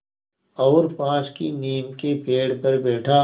और पास की नीम के पेड़ पर बैठा